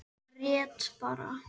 Grét bara.